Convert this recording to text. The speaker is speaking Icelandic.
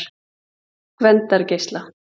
Gvendargeisla